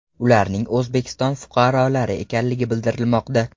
Ularning O‘zbekiston fuqarolari ekanligi bildirilmoqda.